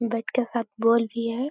Bat के साथ ball भी है।